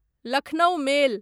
Lucknow मेल